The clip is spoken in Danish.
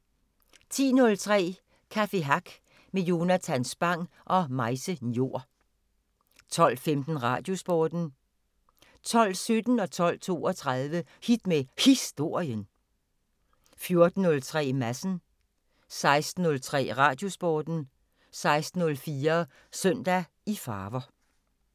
10:03: Café Hack med Jonathan Spang og Maise Njor 12:15: Radiosporten 12:17: Hit med Historien 12:32: Hit med Historien 14:03: Madsen 16:03: Radiosporten 16:04: Søndag i farver